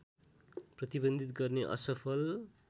प्रतिबन्धित गर्ने असफल